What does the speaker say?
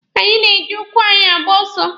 Anyị na-eji ụkwụ anyị agba ọsọ.